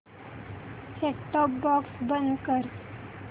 set top box बंद कर